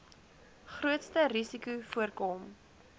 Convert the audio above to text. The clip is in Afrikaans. grootste risikos voorkom